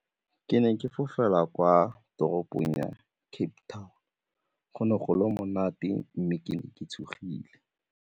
Ke ne ke fofela kwa toropong ya Cape Town, go ne go le monate mme ke ne ke tshogile.